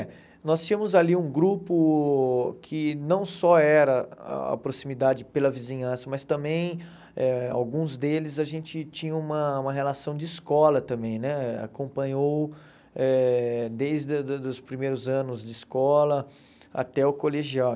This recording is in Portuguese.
É, nós tínhamos ali um grupo que não só era a proximidade pela vizinhança, mas também, eh alguns deles, a gente tinha uma uma relação de escola também né, acompanhou eh desde da da os primeiros anos de escola até o colegial.